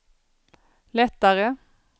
lättare